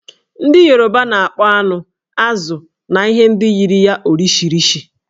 Ndị Yoruba na-akpọ anụ, azụ̀ na ihe ndị yiri ya 'Orishirishi'.